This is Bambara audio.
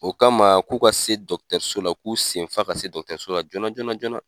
O kama k'u ka se la, u k'u senfa ka se la joona joona joona.